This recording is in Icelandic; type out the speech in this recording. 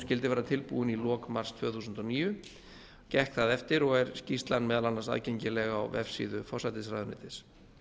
skyldi vera tilbúin í lok mars tvö þúsund og níu gekk það eftir og er skýrslan meðal annars aðgengileg á vefsíðu forsætisráðuneytis